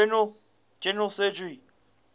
general surgery